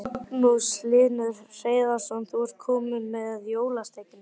Magnús Hlynur Hreiðarsson: Þú ert komin með jólasteikina?